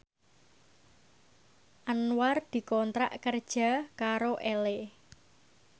Anwar dikontrak kerja karo Elle